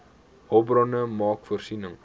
hulpbronne maak voorsiening